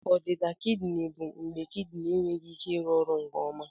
Ọdịda kidini bụ mgbe kidini enweghị ike ịrụ ọrụ nke ọma